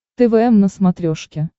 твм на смотрешке